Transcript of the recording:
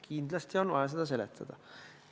Kindlasti on vaja seda seletada.